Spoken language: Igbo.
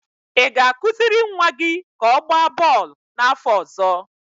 ị ga-akụziri nwa gị ka ọ gbaa bọọlụ n'afọ ọzọ